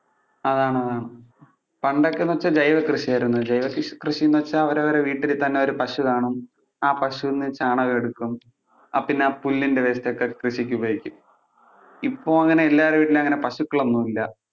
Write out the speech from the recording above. അതാണതാണ് പണ്ടൊക്കെ എന്ന് വെച്ചാൽ ജൈവ കൃഷി ആയിരുന്നു. ജൈവകൃഷിന്ന് വെച്ചാൽ അവരവരുടെ വീട്ടിൽ തന്നെ ഒരു പശു കാണും, ആ പശുവിൽ നിന്ന് ചാണകം എടുക്കും, പിന്നെ ആ പുല്ലിന്‍ടെ waste ഒക്കെ കൃഷിക്ക് ഉപയോഗിക്കും. ഇപ്പൊ അങ്ങനെ എല്ലാവരുടേം വീട്ടിൽ അങ്ങനെ പശുക്കൾ ഒന്നും ഇല്ല.